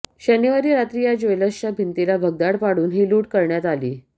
शनिवारी रात्री या ज्वेलर्सच्या भिंतीला भगदाड पाडून ही लूट करण्यात आली